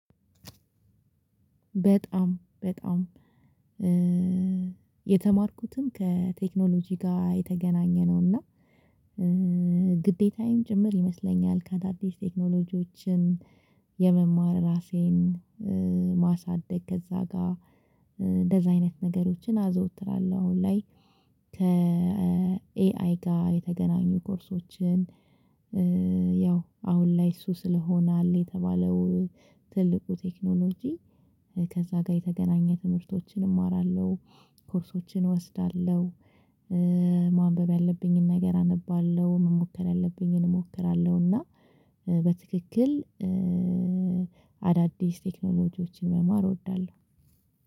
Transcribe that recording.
በጣም በጣም የተማርኩትም ከቴክኖሎጂ ጋ የተገናኘነው እና ግዴታዬም ጭምር ይመስለኛል ከአዳዲስ ቴክኖሎጂዎችም የመማር ራሴን ማሳደግ ከዛ ጋ እንደዛ አይነት ነገሮችን አዘውትራለሁ አሁን ላይ ከኤአይ ጋ የተገናኙ ኮርሶችን። ያው አሁን ላይ እሱ ስለሆነ አለ የተባለው ትልቁ ቴክኖሎጂ ከዛ ጋ የተገናኘ ትምህርቶችን እማራለሁ። ኮርሶችን እወስዳለሁ። ማንበብ ያለብኝን ነገር አነባለሁ መሞከር ያለብኝን እሞክራለሁ እና በትክክል አዳዲስ ቴክኖሎጂዎችን መማር እወዳለሁ